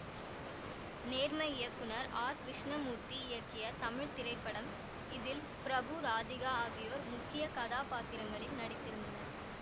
நேர்மை இயக்குனர் ஆர் கிருஷ்ணமூர்த்தி இயக்கிய தமிழ் திரைப்படம் இதில் பிரபு ராதிகா ஆகியோர் முக்கிய கதாபாத்திரங்களில் நடித்திருந்தனர்